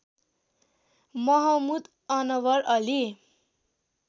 Mahmud Anwar Ali